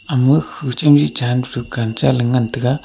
ama khu chamli chan pe dukan cha ley ngan taga.